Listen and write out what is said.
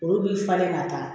Olu bi falen ka taa